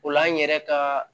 O la an yɛrɛ ka